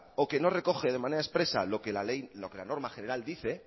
o que no recoge de manera expresa lo que la norma general dice